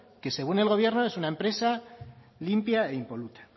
que según el gobierno es una empresa limpia e impoluta